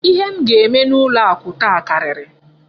Ihe m ga-eme n'ụlọ akụ taa karịrị.